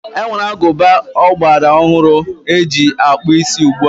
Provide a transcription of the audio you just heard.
E nwere agụba ọgbara ọhụrụ e ji akpụ isí ugbua.